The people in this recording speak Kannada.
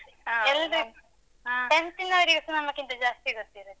tenth ನವ್ರಿಗು.